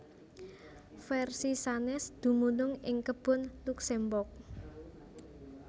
Versi sanès dumunung ing Kebun Luxembourg